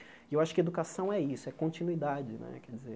E eu acho que educação é isso, é continuidade né, quer dizer.